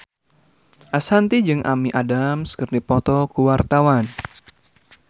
Ashanti jeung Amy Adams keur dipoto ku wartawan